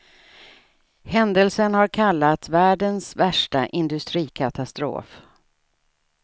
Händelsen har kallats världens värsta industrikatastrof.